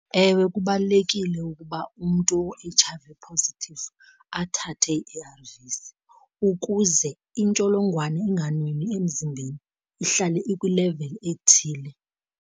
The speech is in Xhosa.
Ewe kubalulekile ukuba umntu o-H_I_V positive athathe ii-A_R_Vs ukuze intsholongwane inganwenwi emzimbeni ihlale ikwileveli ethile.